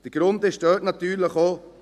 Der Grund ist dort natürlich auch: